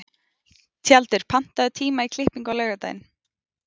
Tjaldur, pantaðu tíma í klippingu á laugardaginn.